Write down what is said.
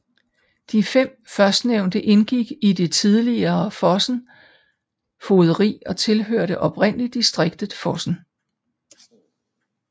De fem førstnævnte indgik i det tidligere Fosen fogderi og tilhørte oprindelig distriktet Fosen